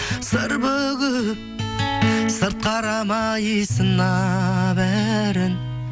сыр бүгіп сырт қарамай сынап бәрін